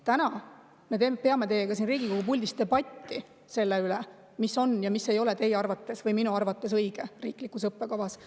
Täna me peame teiega siin Riigikogus debatti selle üle, mis on ja mis ei ole teie arvates või minu arvates õige riiklikus õppekavas.